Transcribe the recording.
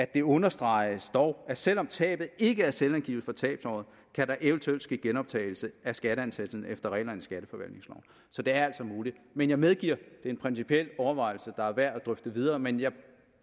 det understreges dog at selv om tabet ikke er selvangivet for tabsåret kan der eventuelt ske genoptagelse af skatteansættelsen efter reglerne i skatteforvaltningsloven så det er altså muligt men jeg medgiver at er en principiel overvejelse der er værd at drøfte videre men jeg